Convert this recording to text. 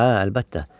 Hə, əlbəttə.